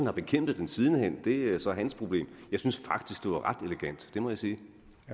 har bekæmpet den siden hen er så hans problem jeg synes faktisk det var ret elegant det må jeg sige